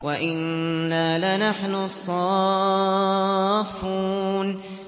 وَإِنَّا لَنَحْنُ الصَّافُّونَ